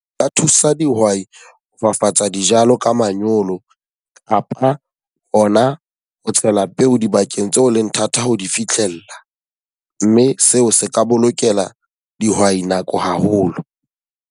Nka thusa dihwai ho fafatsa dijalo ka manyolo kapa ho na ho tshela peo dibakeng tseo leng thata ho di fihlella. Mme seo se ka bolokela dihwai nako haholo.